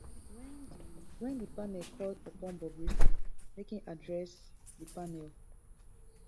wen di wen di panel call upon bobrisky make im address di panel